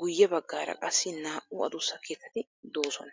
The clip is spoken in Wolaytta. guye baggaara qassi naa'u adussa keettati doosona.